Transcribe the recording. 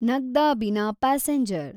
Nagda Bina passenger